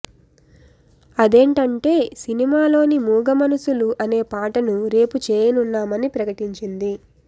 అదేంటంటే సినిమాలోని మూగ మనసులు అనే పాటను రేపు చేయనున్నామని ప్రకటించింది